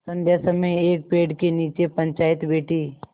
संध्या समय एक पेड़ के नीचे पंचायत बैठी